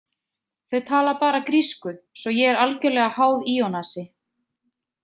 Þau tala bara grísku svo ég er algerlega háð Ionasi.